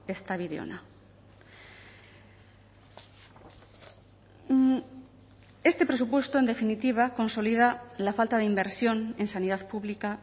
ez da bide ona este presupuesto en definitiva consolida la falta de inversión en sanidad pública